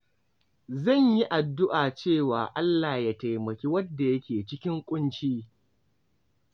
Zan yi addu’a cewa Allah Ya taimaki wanda ke cikin ƙunci.